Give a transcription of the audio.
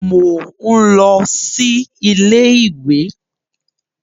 Mò ń lọ sí iléèwé